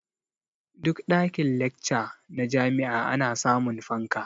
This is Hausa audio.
Duk ɗakin-lacca na jami'a ana samun fanka.